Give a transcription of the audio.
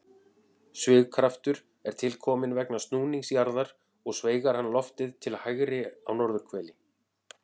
Svigkraftur er til kominn vegna snúnings jarðar og sveigir hann loftið til hægri á norðurhveli.